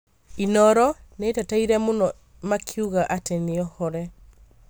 Inooro nĩĩteteire mũno makiugaga atĩ nĩohore